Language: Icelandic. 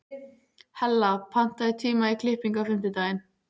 Hella, pantaðu tíma í klippingu á fimmtudaginn.